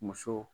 Muso